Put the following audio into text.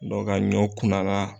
ka ɲɔ kunna la.